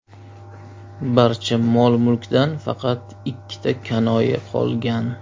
Barcha mol-mulkdan faqat ikkita kanoe qolgan.